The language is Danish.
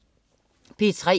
P3: